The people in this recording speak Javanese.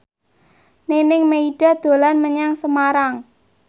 Nining Meida dolan menyang Semarang